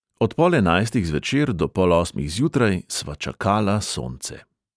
Od pol enajstih zvečer do pol osmih zjutraj sva čakala sonce.